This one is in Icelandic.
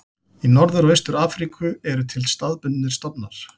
Í Norður og Austur-Afríku eru til staðbundnir stofnar.